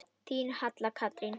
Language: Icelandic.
Þín Halla Katrín.